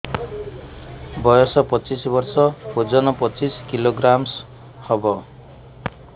ବୟସ ପଚିଶ ବର୍ଷ ଓଜନ ପଚିଶ କିଲୋଗ୍ରାମସ ହବ